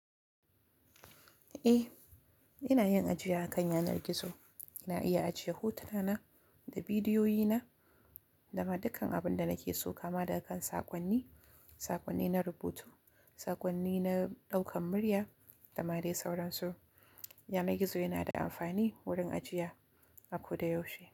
Eh, ina yin ajiya akan yanar gizo. Ina iya ajiye hotuna na da bidiyoyi na da ma dukkan abun da nake so kama da kan saƙonni, saƙonni na rubutu, saƙonni na ɗaukan murya da ma dai sauransu. Yanar gizo yana da amfani wurin ajiya, a ko da yaushe.